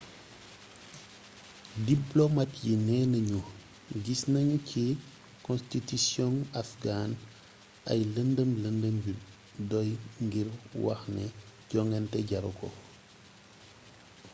diplomat yi neena ñu gis nañu ci konstitusiyong afghan ay lëndëm lëndëm yu doy ngir wax ne jongante jaru ko